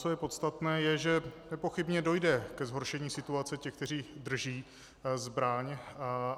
Co je podstatné, je, že nepochybně dojde ke zhoršení situace těch, kteří drží zbraň.